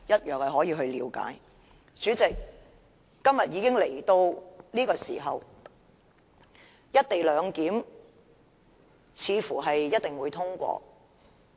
代理主席，今天會議來到這個時候，"一地兩檢"似乎一定會通過。